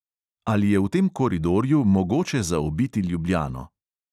Ali je v tem koridorju mogoče zaobiti ljubljano?